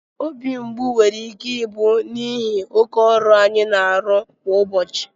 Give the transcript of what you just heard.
obi mgbu nwere ike ịbụ n'ihi oke ọrụ anyị na-arụ kwa ụbọchị